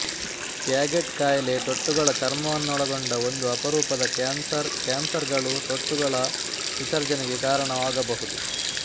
Paget ಕಾಯಿಲೆ ತೊಟ್ಟುಗಳ ಚರ್ಮವನ್ನೊಳಗೊಂಡ ಒಂದು ಅಪರೂಪದ ಕ್ಯಾನ್ಸರ್ ಕ್ಯಾನ್ಸರ್ ಗಳು ತೊಟ್ಟುಗಳ ವಿಸರ್ಜನೆಗೆ ಕಾರಣವಾಗಬಹುದು